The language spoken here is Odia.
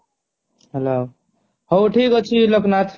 ହେଲାଉ ହାଉ ଠିକ ଅଛି ଲୋକନାଥ